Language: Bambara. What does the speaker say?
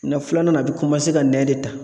Na filanan na a bi ka nɛn de ta.